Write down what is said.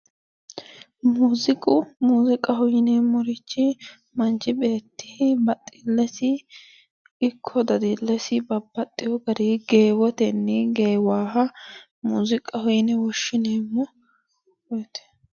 Muuziqu muziqaho yineemorichi manichi baxillesi ikko dadilles baxxewo garii geewotenni geewaha muziqaho yine woshineemo yaate